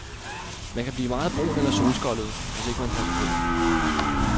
Man kan blive meget brun eller solskoldet, hvis ikke man passer på.